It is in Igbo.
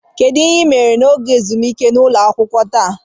Kedu ihe ị mere n'oge ezumike n'ụlọ akwụkwọ taa?